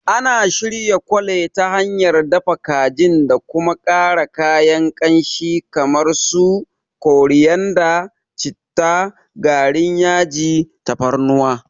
Ana shirya Chole ta hanyar dafa kajin da kuma ƙara kayan kamshi irin su koriyanda, citta, garin yaji, tafarnuwa.